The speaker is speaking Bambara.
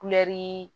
Kulɛri